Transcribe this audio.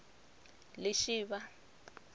lishivha